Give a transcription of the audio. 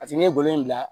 paseke n' ye bolo in bila